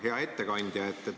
Hea ettekandja!